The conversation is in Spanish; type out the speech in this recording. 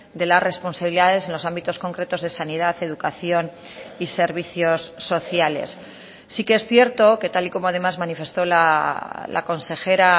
de las responsabilidades en los ámbitos concretos de sanidad educación y servicios sociales sí que es cierto que tal y como además manifestó la consejera